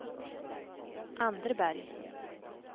Anderberg